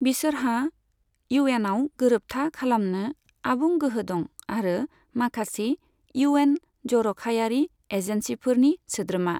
बिसोरहा इउएनआव गोरोबथा खालामनो आबुं गोहो दं आरो माखासे इउएन जर'खायारि एजेन्सिफोरनि सोद्रोमा।